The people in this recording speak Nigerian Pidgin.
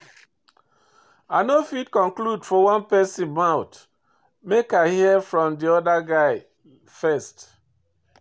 But I no fit conclude for one pesin mouth, make I hear from di other guy first.